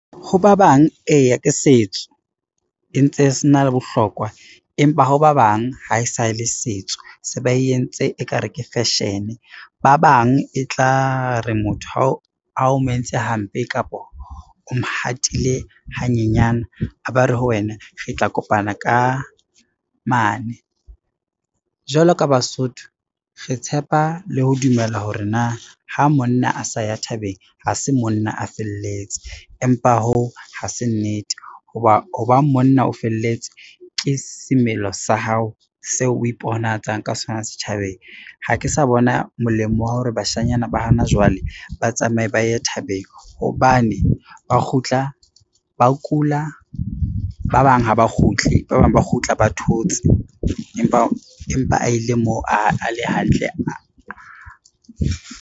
Ho ba bang eya e ntse se na le bohlokwa, empa ha ba bang ha e sa le setso, se ba entse ekare ke fashion-e, ba bang e tla re motho ha o mo entse hampe, kapa o mhatile hanyenyana a ba re ho wena re tla kopana ka mane. Jwalo ka Basotho re tshepa le ho dumela hore na ha monna a sa ya thabeng ha se monna a felletse, empa hoo ha se nnete ho ba, ho ba monna o felletse ke semelo sa hao seo o iponahatsang ka sona setjhabeng. Ha ke sa bona molemo wa hore bashanyana ba hana jwale, ba tsamaye ba ye thabeng hobane ba kgutla ba kula, ba bang ha ba kgutle, ba bang ba kgutla ba thotse empa a ile moo a le hantle.